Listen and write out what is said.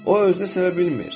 O özünü sevə bilmir.